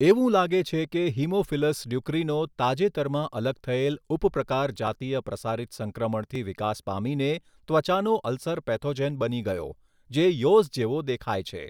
એવું લાગે છે કે હીમોફિલસ ડ્યુક્રીનો તાજેતરમાં અલગ થયેલ ઉપપ્રકાર જાતીય પ્રસારિત સંક્રમણથી વિકાસ પામીને ત્વચાનો અલ્સર પેથોજેન બની ગયો, જે યૉઝ જેવો દેખાય છે.